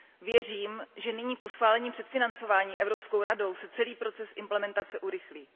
Věřím, že nyní po schválení předfinancování Evropskou radou se celý proces implementace urychlí.